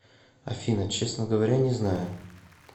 афина честно говоря не знаю